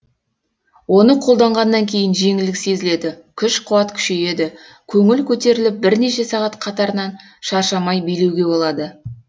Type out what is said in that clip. оны қолданғаннан кейін жеңілдік сезіледі күш қуат күшейеді көңіл көтеріліп бірнеше сағат қатарынан шаршамай билеуге болады